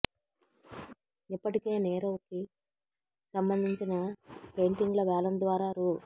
ఇప్పటికే నీరవ్ కి సంబంధించిన పెయింటింగ్ల వేలం ద్వారా రూ